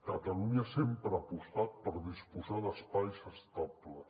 catalunya sempre ha apostat per disposar d’espais estables